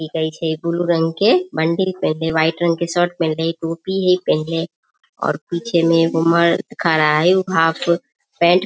की कहे छै ब्लू रंग के बंडी पहिनले व्हाइट रंग के शर्ट पहिनले टोपी हेय पहिनले और पीछे में एगो मर्द खड़ा हेय उ हाफ पैंट --